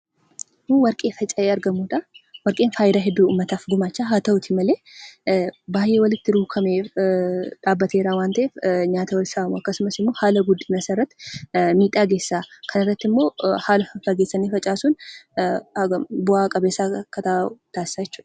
Kun warqee faca'ee argamudha. Warqeen fayidaa hedduu uummataaf gumaacha. Haa ta'u malee baay'ee walitti rukkatee dhaabbatee jira waan ta'eef nyaata wal saama yookiin haala guddina isaarratti miidhaa geessisa. Kanarratti immoo walirraa faffageessanii facaasuun bu'aa qabeessa akka ta'u taasisa jechuudha.